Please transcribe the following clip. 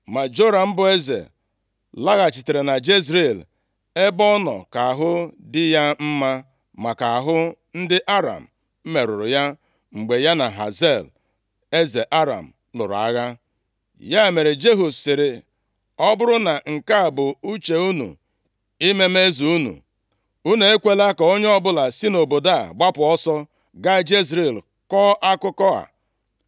Ma Joram bụ eze, laghachitere na Jezril ebe ọ nọ ka ahụ dị ya mma maka ahụ ndị Aram merụrụ ya mgbe ya na Hazael, eze Aram lụrụ agha. Ya mere, Jehu sịrị, “Ọ bụrụ na nke a bụ uche unu, ime m eze unu, unu ekwela ka onye ọbụla si nʼobodo a gbapụ, gaa Jezril kọọ akụkọ a.”